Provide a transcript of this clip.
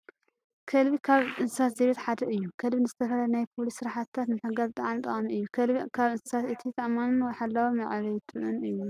ከልቢ ካብ እንስሳት ዘቤት ሓደ እዩ። ከልቢ ንዝተፈላለዩ ናይ ፖሊስ ስራሕትታት ንምሕጓዝ ብጣዕሚ ጠቃሚ እዩ። ከልቢ ካብ እንስሳት እቲ ተኣማንን ሓላዊ መዕበይትኡን እዩ።